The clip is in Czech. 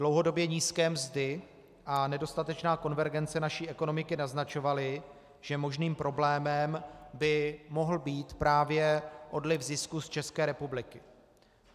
Dlouhodobě nízké mzdy a nedostatečná konvergence naší ekonomiky naznačovaly, že možným problémem by mohl být právě odliv zisků z České republiky.